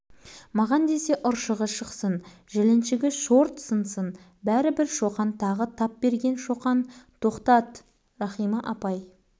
шоқан кілт тоқтады сыныпқа апай кіріп келеді екен енді бітті бауыржанның тізесінің ұршығы шықпайды жіліншігі сынбайды